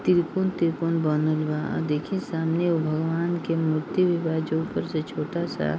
तिरुपण-तिरुपण बनल बा देखि सामने एगो भगवान के मूर्ति भी बा जो ऊपर से छोटा सा --